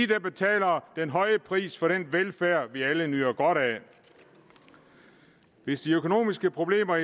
der betaler den høje pris for den velfærd vi alle nyder godt af hvis de økonomiske problemer